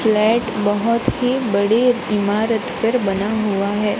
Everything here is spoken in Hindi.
फ्लैट बहुत ही बड़े इमारत पर बना हुआ है।